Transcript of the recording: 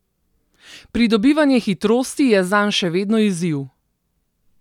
Pridobivanje hitrosti je zanj še vedno izziv.